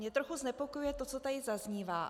Mě trochu znepokojuje to, co tady zaznívá.